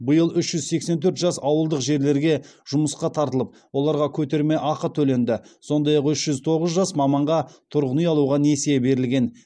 биыл үш жүз сексен төрт жас ауылдық жерлерге жұмысқа тартылып оларға көтерме ақы төленді сондай ақ үш жүз тоғыз жас маманға тұрғын үй алуға несие берілген